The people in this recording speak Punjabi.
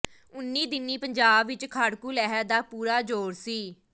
ਉਨ੍ਹੀਂ ਦਿਨੀਂ ਪੰਜਾਬ ਵਿੱਚ ਖਾੜਕੂ ਲਹਿਰ ਦਾ ਪੂਰਾ ਜ਼ੋਰ ਸੀ